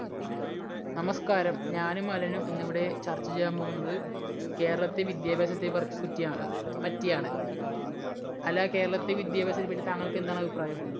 നമസ്കാരം. ഞാനും അലനും ഇന്ന് ഇവിടെ ചർച്ച ചെയ്യാൻ പോകുന്നത് കേരളത്തിലെ വിദ്യാഭ്യാസത്തെ പർപറ്റിയാണ് പറ്റിയാണ്. അല്ല കേരളത്തിലെ വിദ്യാഭ്യാസത്തെ പറ്റി താങ്കൾക്ക് എന്താണ് അഭിപ്രായം?